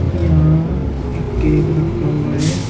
यहां एक केक रखा हुआ है।